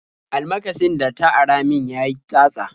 Almakashin da ta ara min ya yi tsatsa.